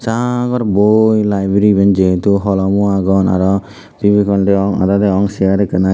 sagor boi library iben je hetu holomo agon aro fevicol degong aada degong aro segaro agey.